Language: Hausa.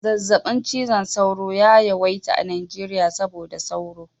Zazzaɓin cizon sauro ya yawaita a Najeriya saboda sauro